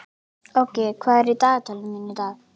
Áki, hvað er í dagatalinu mínu í dag?